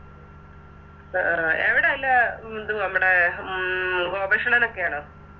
അഹ് ആഹ് എവിടാ ത് ല്ലെ നമ്മടെ ഉം റോബേഷ് അണ്ണനൊക്കെയാണോ